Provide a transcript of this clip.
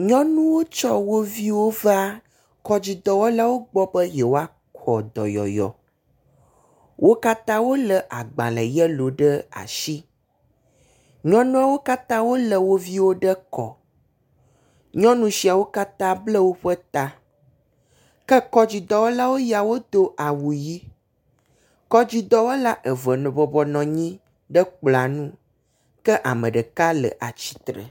Nyɔnuwo tsɔ wo viwo va kɔdzidɔwɔlawo gbɔ nɛ yewoaxɔ dɔyɔyɔ, wo katã wole agbalẽ yɛlo ɖe asi. Nyɔnuawo katã wole wo viwo ɖe kɔ, nyɔnu siawo katã bla woƒe ta ke kɔdzidɔwɔlawo ya wodo awu ɣi. Kɔdzidɔwɔlawo eve bɔbɔnɔ anyi ɖe kplɔ̃a ŋu ke ame ɖeka le atsitre.